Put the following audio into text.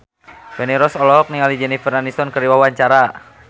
Feni Rose olohok ningali Jennifer Aniston keur diwawancara